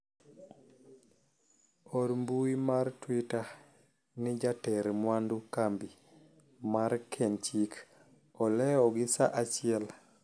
or mbui mar twita ni jater mwandu kambi mar kenchik olewo gi saa achiel